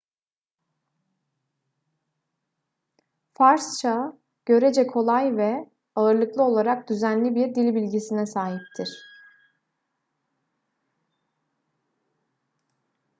farsça görece kolay ve ağırlıklı olarak düzenli bir dilbilgisine sahiptir